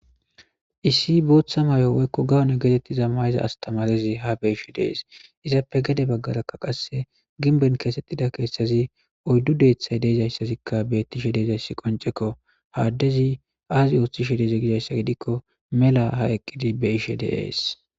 issi booththa mayo woykko gawone getettiza mayza astamarezi ha be ishe dees izappe gede baggaraka qasse ginben keesettida keesthazi oyddu deethay deezayssazikka beettishe deezayssi qoncekko haaddezi aazi ooththi she deze gidayssa gidikko mela ha eqqidi be ishe deees